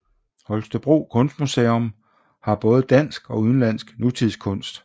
Holstebro Kunstmuseum har både dansk og udenlandsk nutidskunst